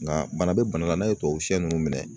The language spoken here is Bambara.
Nga bana bɛ bana la n'a ye tubabu sɛ ninnu minɛ